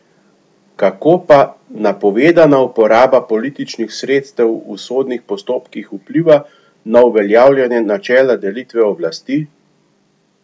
Kako pa napovedana uporaba političnih sredstev v sodnih postopkih vpliva na uveljavljanje načela delitve oblasti?